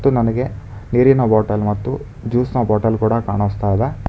ಮತ್ತು ನನಗೆ ನೀರಿನ ಬಾಟಲ್ ಮತ್ತು ಜ್ಯೂಸ್ ನ ಬಾಟಲ್ ಕೂಡ ಕಾಣುಸ್ತಾಯಿದೆ.